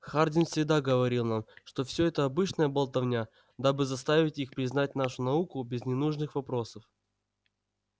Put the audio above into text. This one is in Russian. хардин всегда говорил нам что все это обычная болтовня дабы заставить их признать нашу науку без ненужных вопросов